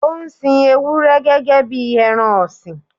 Ó ń sin Ewúrẹ́ gẹ́gẹ́ bí ẹran ọ̀sìn.